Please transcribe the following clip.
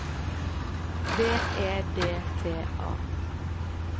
V E D T A